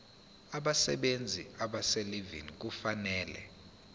abasebenzi abaselivini kufanele